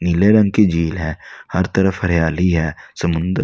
नीले रंग की झील है हर तरफ हरियाली है समुंदर--